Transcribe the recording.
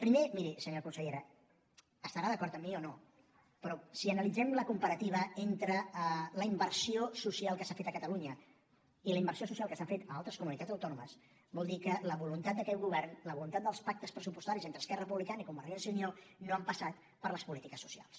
primer miri senyora consellera estarà d’acord amb mi o no però si analitzem la comparativa entre la inversió social que s’ha fet a catalunya i la inversió social que s’ha fet a altres comunitats autònomes vol dir que la voluntat d’aquest govern la voluntat dels pactes pressupostaris entre esquerra republicana i convergència i unió no ha passat per les polítiques socials